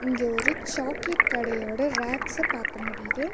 இங்க ஒரு சாக்லேட் கடயோட ரேக்ஸ்ச பாக்க முடியிது.